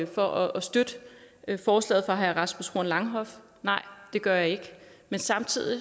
for at støtte forslaget fra herre rasmus horn langhoff nej det gør jeg ikke men samtidig